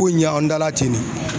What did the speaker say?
Ko in ye anw da la ten ne.